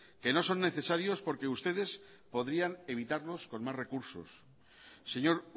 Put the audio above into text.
que no son necesarios porque ustedes podrían evitarlos con más recursos señor